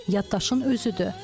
Yaddaşın özüdür.